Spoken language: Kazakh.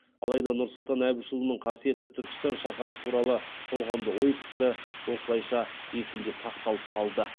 алайда нұрсұлтан әбішұлының қасиетті түркістан шаһары туралы толғамды ой пікірі осылайша есімде сақталып қалды